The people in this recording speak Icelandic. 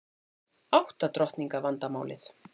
Átta drottninga vandamálið